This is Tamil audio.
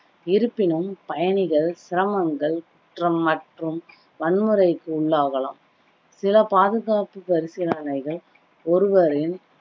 இருப்பினும் பயணிகள் சிரமங்கள், குற்றம் மற்றும் வன்முறைக்கு உள்ளாகலாம் சில பாதுகாப்பு பரிசீலனைகள் ஒருவரின்